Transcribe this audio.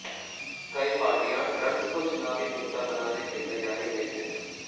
कई पार्टियां ड्रग्स को चुनावी मुद्धा बनाने की तैयारी में हैं